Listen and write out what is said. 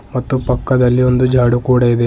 ಮತ್ತು ಪಕ್ಕದಲ್ಲಿ ಒಂದು ಜಾಡೂ ಕೂಡ ಇದೆ.